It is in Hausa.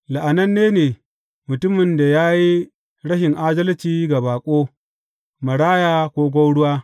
La’ananne ne mutumin da ya yi rashin adalci ga baƙo, maraya ko gwauruwa.